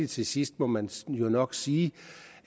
til sidst må man jo nok sige